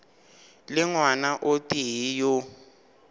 le ngwana o tee yo